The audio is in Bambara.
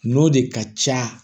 N'o de ka ca